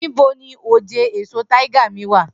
Nibo ni oje eso tiger mi wa?